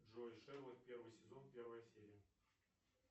джой шерлок первый сезон первая серия